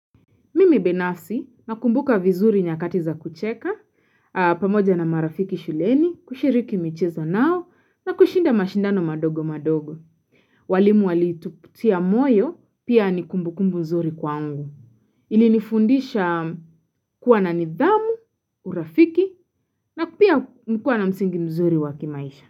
Mimi binafsi nakumbuka vizuri nyakati za kucheka, pamoja na marafiki shuleni, kushiriki michezo nao, na kushinda mashindano madogo madogo. Walimu wali tuputia moyo, pia nikumbu kumbu mzuri kwangu. Ilinifundisha kuwa na nidhamu, urafiki, na pia kuwa na msingi mzuri wakimaisha.